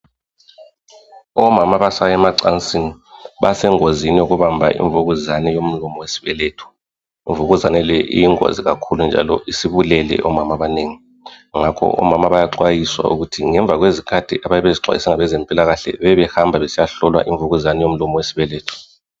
Omama abasaya emacansini basengozini yokubamba imvukuzane yomlomo wesibeletho. Imvukuzane le iyingozi kakhulu njalo isibulele omama abanengi ngakho omama bayaxwayiswa ukuthi ngemva kwezikhathi ababezixwayiswe ngabezempilakahle, bebebehamba besiyahlolwa imvukuzane yomlomo wesibeletho.